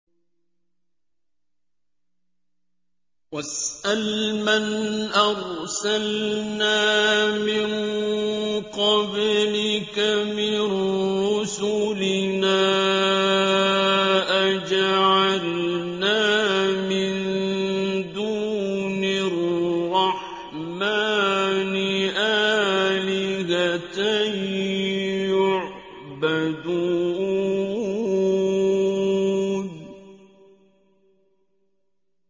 وَاسْأَلْ مَنْ أَرْسَلْنَا مِن قَبْلِكَ مِن رُّسُلِنَا أَجَعَلْنَا مِن دُونِ الرَّحْمَٰنِ آلِهَةً يُعْبَدُونَ